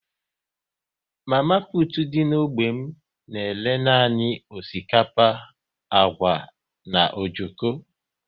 Mama putu dị n'ógbè m na-ere nanị osikapa, agwa na ojoko